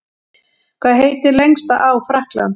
Hvað heitir lengsta á Frakklands?